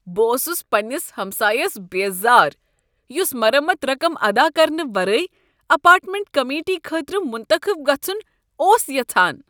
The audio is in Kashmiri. بہٕ اوسس پننس ہمسایس بیزار یس مرمت رقم ادا کرنہٕ ورٲے اپارٹمنٹ کمیٹی خٲطرٕ منتخب گژھن اوس یژھان۔